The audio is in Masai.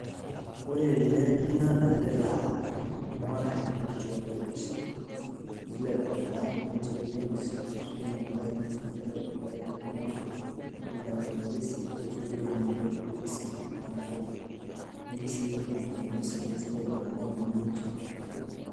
Ore tenewueji nadolita iltunganak etii enkituo orpolisi , etii ilaiguanak netii irpolisi , netii iltunganak oboitare ilkulikae tenewueji elelek aa orkesi etuoki tenewuei oropolisi neaku netii sii nkituak naa irpolisi , netii ilainguanak enewueji pokin.